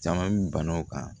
Caman mi bana o kan